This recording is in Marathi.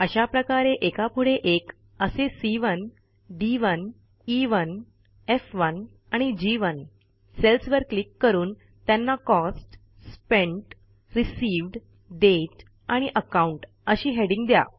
अशाप्रकारे एकापुढे एक असे सी1 डी1 ई1 एफ1 आणि जी1 सेल्सवर क्लिक करून त्यांना कॉस्ट स्पेंट रिसीव्ह्ड दाते आणि अकाउंट अशी हेडिंग द्या